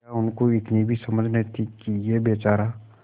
क्या उनको इतनी भी समझ न थी कि यह बेचारा